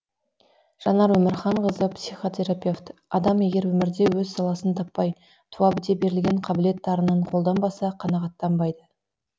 жанар өмірханқызы психотерапевт адам егер өмірде өз саласын таппай туа біте берілген қабілет дарынын қолданбаса қанағаттанбайды